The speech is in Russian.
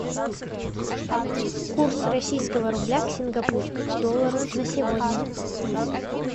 курс российского рубля к сингапурскому доллару на сегодня